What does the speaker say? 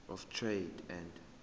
of trade and